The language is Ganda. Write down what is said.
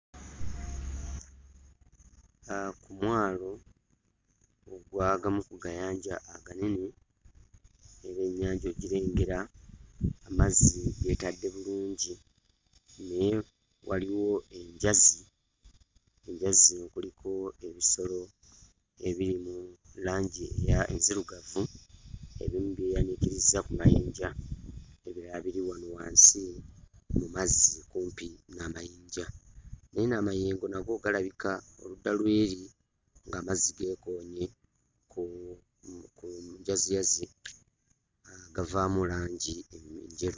Aa ku mwalo ogw'agamu ku gayanja aganene era ennyanja ogirengera amazzi geetadde bulungi nnyo waliwo enjazi enjazi kuliko ebisolo ebiri mu langi eya enzirugavu ebimu byeyaniikirizza ku mayinja ebirala biri wano wansi mu mazzi kumpi n'amayinja enno amayengo nago galabika oludda lw'eri ng'amazzi geekoonye ku njaziyazi aa gavaamu langi enjeru.